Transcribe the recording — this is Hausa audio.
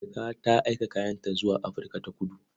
Marka ta aika kayanta zuwa Afirka-ta-kudu.